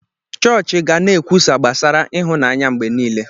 Chọọchị ga na-ekwusa gbasara ịhụnanya mgbe niile.